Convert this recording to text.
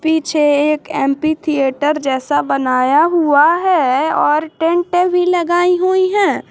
पीछे एक amphitheatre जैसा बनाया हुआ है और टेंटे भी लगाई हुई हैं।